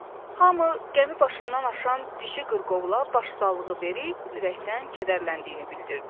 Hamı qəmi başından aşan dişi qırqovula başsağlığı verib ürəkdən kədərləndiyini bildirdi.